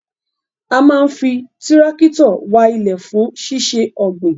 A maa n fi tirakitio wa ile fun sise ogbin